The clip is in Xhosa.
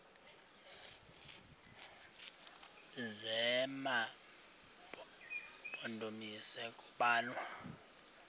zema mpondomise kubalwa